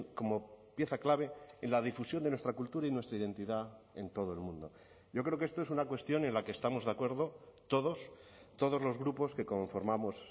como pieza clave en la difusión de nuestra cultura y nuestra identidad en todo el mundo yo creo que esto es una cuestión en la que estamos de acuerdo todos todos los grupos que conformamos